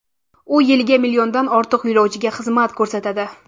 U yiliga milliondan ortiq yo‘lovchiga xizmat ko‘rsatadi.